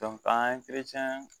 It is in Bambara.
an ye